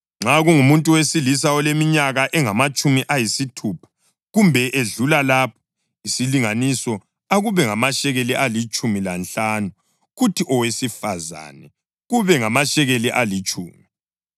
Nxa kungumuntu wesilisa oleminyaka engamatshumi ayisithupha kumbe edlula lapho, isilinganiso akube ngamashekeli alitshumi lanhlanu, kuthi owesifazane kube ngamashekeli alitshumi.